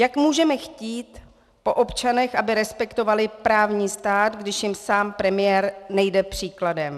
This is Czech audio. Jak můžeme chtít po občanech, aby respektovali právní stát, když jim sám premiér nejde příkladem?